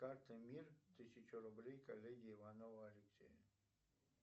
карта мир тысячу рублей коллеге иванову алексею